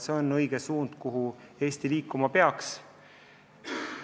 See on õige suund, kuhu Eesti liikuma peaks.